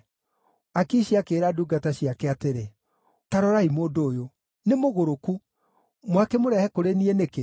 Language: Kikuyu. Akishi akĩĩra ndungata ciake atĩrĩ, “Ta rorai mũndũ ũyũ! Nĩ mũgũrũku! Mwakĩmũrehe kũrĩ niĩ nĩkĩ?